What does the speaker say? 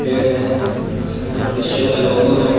पेड़ है सामने में क्रिश्चियन का लोगो है।